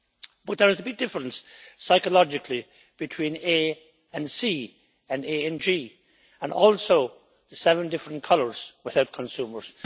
But there is a big difference, psychologically, between A and C, and A and G, and also the seven different colours will help consumers.